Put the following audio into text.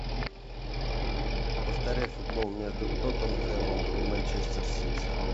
повторяй футбол между тоттенхэмом и манчестер сити